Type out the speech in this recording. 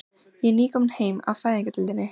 Ég er nýkomin heim af Fæðingardeildinni.